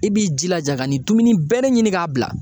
I b'i jilaja ka nin dumuni bɛɛ de ɲini ka bila.